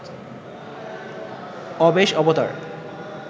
অবেশ অবতার